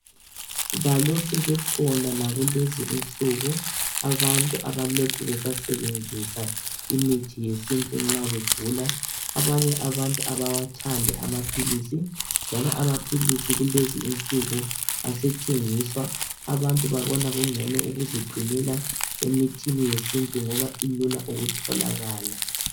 Balokhe bekhona lakulezi insuku abantu abalokhe besasebenzisa imithi yesintu nxa begula .Abanye abantu abawathandi amaphilisi njalo amaphilisi kulezi insuku asethengiswa .Abantu babona kungcono ukuziqinela emithini yesintu ngoba ilula ukutholaka .